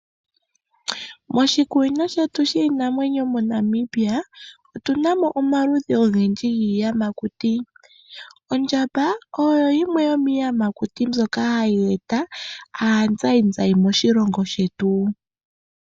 Moshikunino shetu shiinamwenyo moNamibia otunamo omaludhi ogendji giiyamakuti. Ondjamba oyo yimwe yomiiyamakuti mbyoka hayi eta aazayizayi moshilongo shetu.